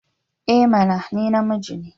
I mana! Ni namiji ne.